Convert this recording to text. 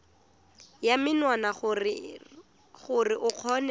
ya menwana gore o kgone